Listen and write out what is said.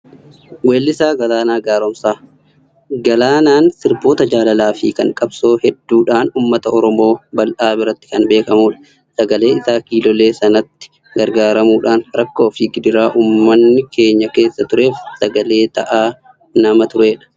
Weellisaa Galaanaa Gaaromsaa. Galaanaan sirboota jaalalaa fi kan qabsoo hedduudhaan uummata Oromoo bal'aa biratti kan beekamudha. Sagalee isaa kiilolee sanatti gargaaramuudhaan rakkoo fi gidiraa uummanni keenya keessa tureef sagalee ta'aa nama turedha.